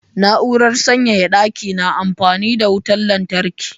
Na'urar sanyaya ɗaki na amfani da wutar lantarki